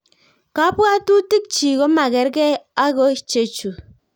Kabwatutik chii komagergei ago chechu